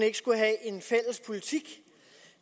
ikke skulle have en fælles politik